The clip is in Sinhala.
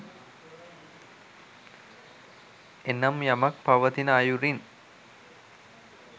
එනම් යමක් පවතින අයුරින්